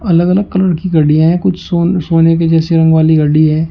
अलग अलग कलर की घड़ियां हैं कुछ सोन सोने की जैसी रंग वाली घड़ी है।